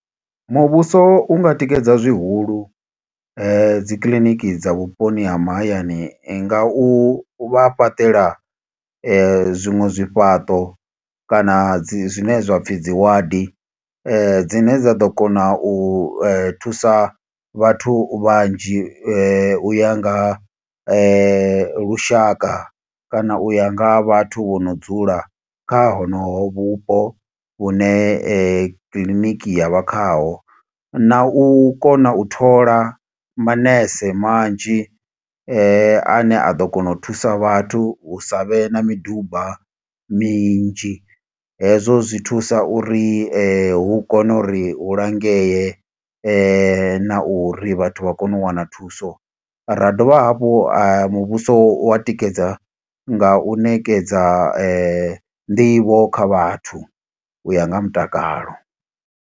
Muvhuso unga tikedza zwihulu dzikiḽiniki dza vhuponi ha mahayani nga u vha fhaṱela zwiṅwe zwifhaṱo, kana dzi zwine zwapfi dzi ward. Dzine dza ḓo kona u thusa vhathu vhanzhi, u ya nga ha lushaka, kana u ya nga ha vhathu vho no dzula kha honoho vhupo vhune kiḽiniki ya vha khaho. Na u kona u thola manese manzhi ane a ḓo kona u thusa vhathu, hu sa vhe na miduba minzhi. Hezwo zwi thusa uri hu kone uri hu langee, na uri vhathu vha kone u wana thuso. Ra dovha hafhu ha muvhuso wa tikedza, nga u ṋekedza nḓivho kha vhathu, u ya nga ha mutakalo.